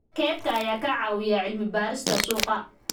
Kaydka ayaa ka caawiya cilmi-baarista suuqa.